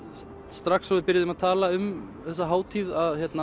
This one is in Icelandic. strax og við byrjuðum að tala um þessa hátíð